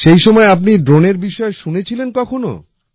সেই সময় আপনি ড্রোনের বিষয়ে শুনেছিলেন কখনো